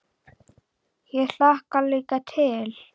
Ég hlakka líka til.